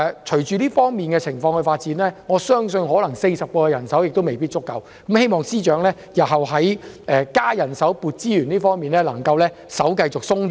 隨着情況發展，我相信40人可能未必足夠，希望司長日後在增加人手、增撥資源方面可以較為寬鬆。